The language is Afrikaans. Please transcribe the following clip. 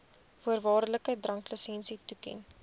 voorwaardelike dranklisensie toeken